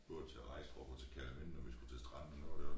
Det var til Regstrup og til Kerteminde når vi skulle til stranden og noget deroppe